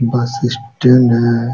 बस स्टैंड है।